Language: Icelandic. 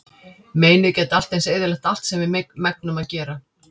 Meinið gæti allt eins eyðilagt allt sem við megnum að gera.